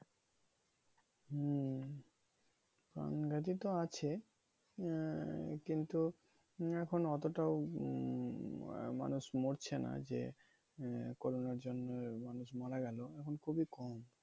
হম প্রাণঘাতী তো আছে আহ কিন্তু এখন এতটাও উম মানুষ মরছে না। যে corona র জন্যে মানুষ মারা গেলো এখন খুবই কম।